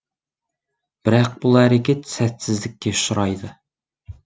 бірақ бұл әрекет сәтсіздікке ұшырайды